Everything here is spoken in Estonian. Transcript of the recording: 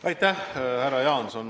Aitäh, härra Jaanson!